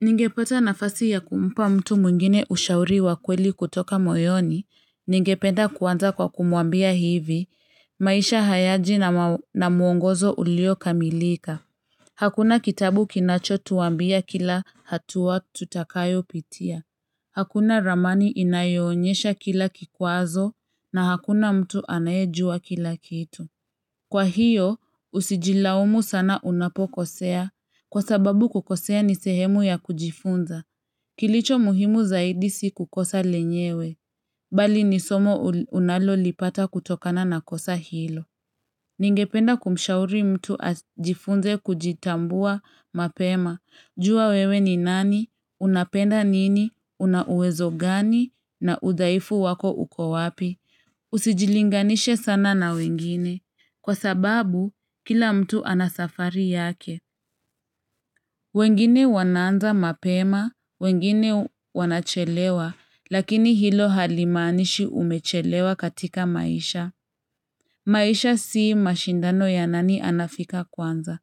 Ningepata nafasi ya kumpa mtu mwingine ushauri wa kweli kutoka moyoni ningependa kuanza kwa kumwambia hivi maisha hayaji na muongozo ulio kamilika Hakuna kitabu kinacho tuambia kila hatua tutakayo pitia Hakuna ramani inayoonyesha kila kikwazo na hakuna mtu anayejua kila kitu Kwa hiyo, usijilaumu sana unapokosea. Kwa sababu kukosea ni sehemu ya kujifunza. Kilicho muhimu zaidi si kukosa lenyewe. Bali ni somo unalo lipata kutokana na kosa hilo. Ningependa kumshauri mtu ajifunze kujitambua mapema. Jua wewe ni nani, unapenda nini, unauwezo gani, na udhaifu wako uko wapi. Usijilinganisha sana na wengine. Kwa sababu, kila mtu anasafari yake. Wengine wanaanza mapema, wengine wanachelewa, lakini hilo halimaanishi umechelewa katika maisha. Maisha sii mashindano ya nani anafika kwanza,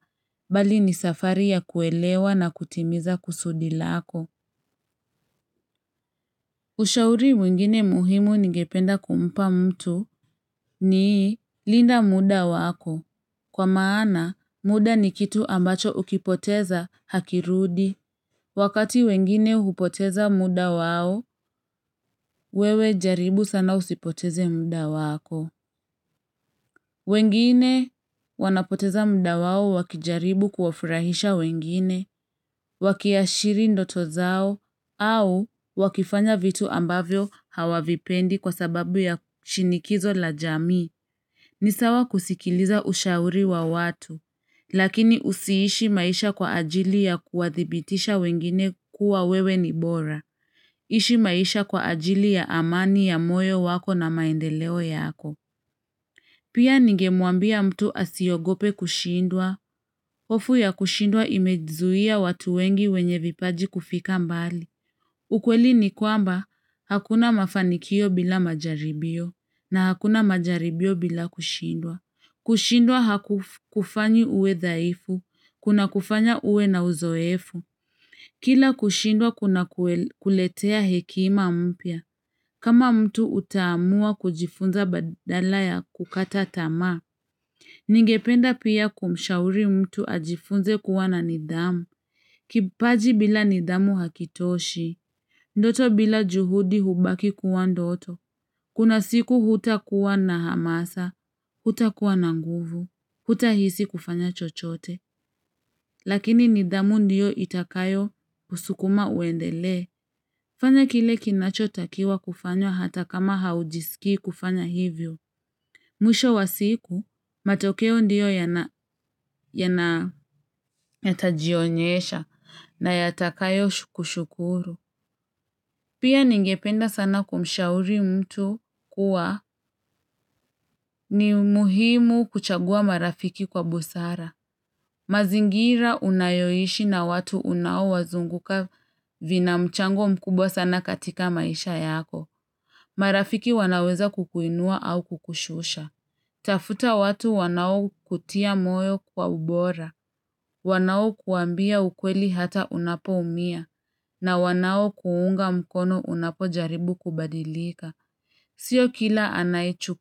bali ni safari ya kuelewa na kutimiza kusudi lako. Ushauri wengine muhimu ningependa kumpa mtu ni linda muda wako. Kwa maana, muda ni kitu ambacho ukipoteza hakirudi. Wakati wengine hupoteza muda wao, wewe jaribu sana usipoteze muda wako. Wengine wanapoteza muda wao wakijaribu kuwafurahisha wengine, wakiashiri ndoto zao, au wakifanya vitu ambavyo hawavipendi kwa sababu ya shinikizo la jamii ni sawa kusikiliza ushauri wa watu, lakini usiishi maisha kwa ajili ya kuwadhibitisha wengine kuwa wewe ni bora. Ishi maisha kwa ajili ya amani ya moyo wako na maendeleo yako. Pia ninge mwambia mtu asiogope kushindwa, hofu ya kushindwa imezuia watu wengi wenye vipaji kufika mbali. Ukweli ni kwamba, hakuna mafanikio bila majaribio, na hakuna majaribio bila kushindwa. Kushindwa hakufanyi uwe dhaifu. Kuna kufanya uwe na uzoefu. Kila kushindwa kuna kuletea hekima mpya. Kama mtu utaamua kujifunza badala ya kukata tama. Ningependa pia kumshauri mtu ajifunze kuwa na nidhamu. Kipaji bila nidhamu hakitoshi. Ndoto bila juhudi hubaki kuwa ndoto. Kuna siku hutakuwa na hamasa. Huta kuwa na nguvu. Hutahisi kufanya chochote, lakini nidhamu ndiyo itakayo kusukuma uendele. Fanya kile kinacho takiwa kufanya hata kama haujisiki kufanya hivyo. Mwisho wa siku, matokeo ndiyo yana yana yata jionyesha na yatakayo kushukuru Pia ningependa sana kumshauri mtu kuwa ni umuhimu kuchagua marafiki kwa busara. Mazingira unayoishi na watu unaowazunguka vina mchango mkubwa sana katika maisha yako. Marafiki wanaweza kukuinua au kukushusha. Tafuta watu wanao kutia moyo kwa ubora. Wanao kuambia ukweli hata unapo umia. Na wanao kuunga mkono unapo jaribu kubadilika. Sio kila anayechu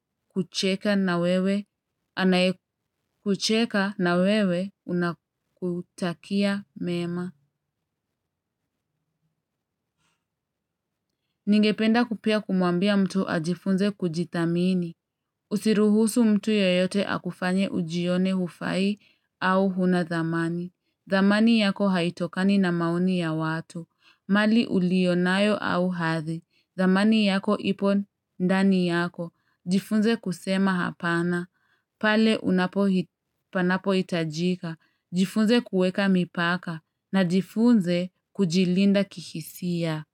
kucheka na wewe anakutakia mema. Ningependa pia kumwambia mtu ajifunze kujithamini. Usiruhusu mtu yeyote akufanye ujione hufai au hunathamani. Thamani yako haitokani na maoni ya watu. Mali ulionayo au hathi. Thamani yako ipo ndani yako. Jifunze kusema hapana. Pale unapo hitajika, jifunze kuweka mipaka na jifunze kujilinda kihisia.